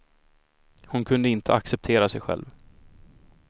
Hon kunde inte acceptera sig själv.